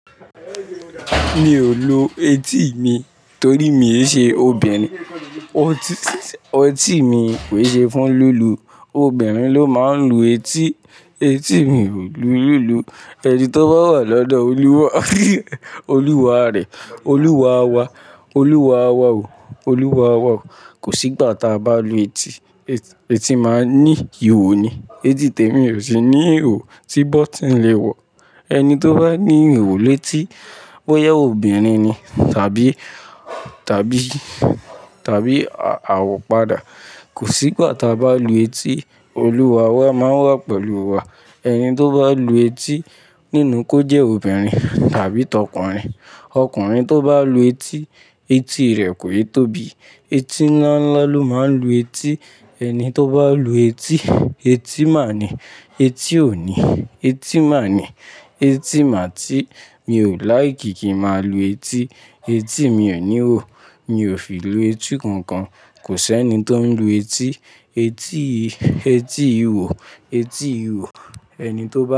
Mi ò lo eti mi torí mi ò ṣe obìnrin. Eti mi kò ṣe fún lílu. Obìnrin ló máa ń lu eti. Eti mi wò lulù. Ẹni tí ó bá wà lọ́dọ̀ olúwa, olúwa rẹ̀, olúwa wa, olúwa wa o, olúwa wa o. Kò sí ìgbà tí a bá lu eti. Eti máa ń ní ihò ni. Eti tèmi ò sí ní ihò tí bọ́tí ń le wọ̀. Ẹni tí ó bá ní ihò létí bóyá obìnrin ni tàbí, tàbí, tàbí awọ padà. Kò sí ìgbà tí a bá lu eti. Olúwa wa máa wà pẹ̀lú wa. Ẹni tí ó bá lu eti nínú ko jẹ́ obìnrin tàbí tọkùnrin. Ọkùnrin tí ó bá lu eti, eti rẹ̀ kò yẹ tóbi. Eti ńlá ńlá ló máa ń lu eti. Ẹni tí ó bá lu eti, eti máa ni. Eti òní, eti máa ni. Eti mà tí. Mi ò láì kì kí n máa lu eti. Eti mi ò ní ihò. Mi ò fi lu etí kankan. Kò sí ẹni tí ó ń lu eti. Eti, eti ihò, eti ihò. Ẹni tí ó.